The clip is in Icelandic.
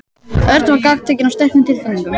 Örn var gagntekinn af sterkum tilfinningum.